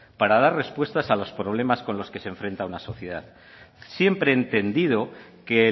para dar respuestas a los problemas con los que se enfrenta una sociedad siempre entendido que